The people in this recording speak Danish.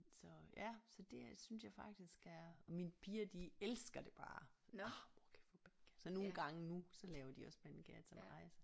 Så ja så det er synes jeg faktisk er mine piger de elsker det bare orh mor kan vi få pandekager så nogle gange nu så laver de også pandekager til mig